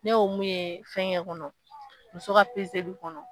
Ne y'o mun ye fɛnkɛ kɔnɔ muso ka pezeli kɔnɔ